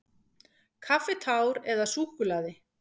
Kaffitár eða súkkulaði.